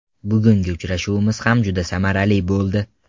Bugungi uchrashuvimiz ham juda samarali bo‘ldi.